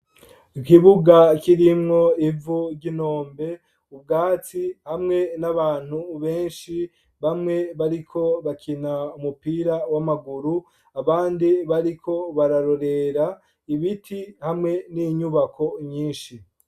Ikibuga kirimwo ivu ry'intombe ubwatsi hamwe n'abantu benshi bamwe bari ko bakina umupira w'amaguru abandi bariko bararorera ibiti hamwe n'inyubako nyinshi.